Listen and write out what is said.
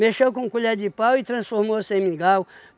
com colher de pau e transformou-se em mingau.